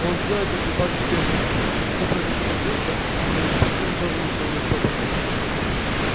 он сделал это в припадке бешенства и всё произошло так быстро что его противник тоже ничего не успел понять